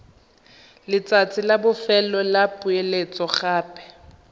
letsatsi la bofelo la poeletsogape